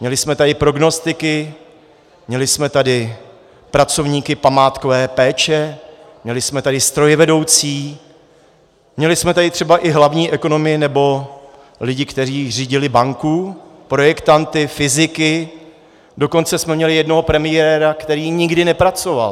Měli jsme tady prognostiky, měli jsme tady pracovníky památkové péče, měli jsme tady strojvedoucí, měli jsme tady třeba i hlavní ekonomy nebo lidi, kteří řídili banku, projektanty, fyziky, dokonce jsme měli jednoho premiéra, který nikdy nepracoval.